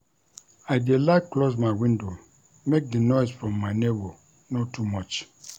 I dey like close my window make di noise from my nebor no too much.